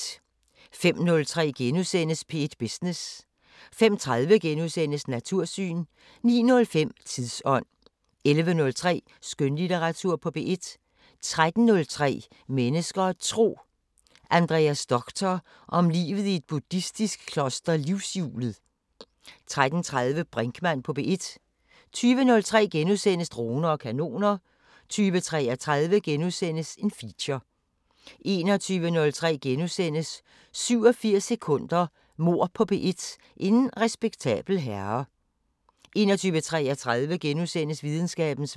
05:03: P1 Business * 05:30: Natursyn * 09:05: Tidsånd 11:03: Skønlitteratur på P1 13:03: Mennesker og Tro: Andreas Doctor om livet i et buddhistisk kloster Livshjulet 13:30: Brinkmann på P1 20:03: Droner og kanoner * 20:33: Feature * 21:03: 87 sekunder – Mord på P1: En respektabel herre * 21:33: Videnskabens Verden *